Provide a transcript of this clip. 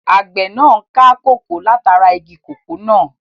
Àgbẹ̀ náà n ká kòkó látara igi kòkó náà